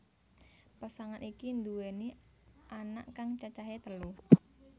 Pasangan iki nduweni anak kang cacahé telu